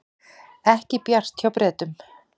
Ekki bjart hjá Bretum